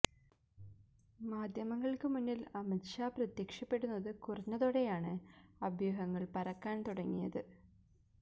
മാധ്യമങ്ങള്ക്ക് മുന്നില് അമിത് ഷാ പ്രത്യക്ഷപ്പെടുന്നത് കുറഞ്ഞതോടെയാണ് അഭ്യൂഹങ്ങള് പരക്കാന് തുടങ്ങിയത്